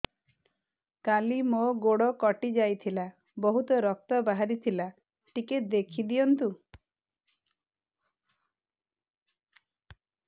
କାଲି ମୋ ଗୋଡ଼ କଟି ଯାଇଥିଲା ବହୁତ ରକ୍ତ ବାହାରି ଥିଲା ଟିକେ ଦେଖି ଦିଅନ୍ତୁ